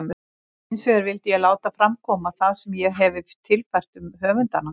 Hinsvegar vildi ég láta fram koma það sem ég hefi tilfært um höfundana.